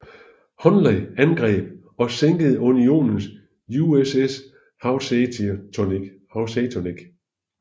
Hunley angreb og sænkede Unionens USS Housatonic